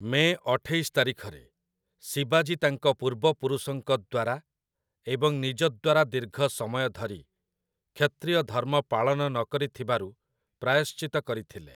ମେ ଅଠେଇଶ ତାରିଖରେ, ଶିବାଜୀ ତାଙ୍କ ପୂର୍ବପୁରୁଷଙ୍କ ଦ୍ୱାରା ଏବଂ ନିଜ ଦ୍ୱାରା ଦୀର୍ଘ ସମୟ ଧରି କ୍ଷତ୍ରିୟ ଧର୍ମ ପାଳନ ନକରିଥିବାରୁ ପ୍ରାୟଶ୍ଚିତ୍ତ କରିଥିଲେ ।